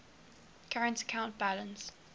current account balance